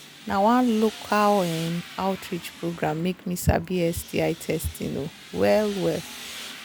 na one local um outreach program make me sabi sti testing um well well